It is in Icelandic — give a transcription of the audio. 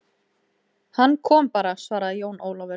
Hann kom bara, svaraði Jón Ólafur.